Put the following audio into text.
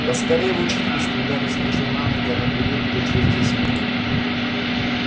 да скорее в учительскую гарри вскочил на ноги она придёт туда через десять минут